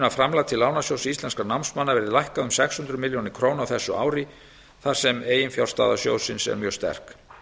að framlag til lánasjóðs íslenskra námsmanna verði lækkað um sex hundruð milljóna króna á þessu ári þar sem eiginfjárstaða sjóðsins er mjög sterk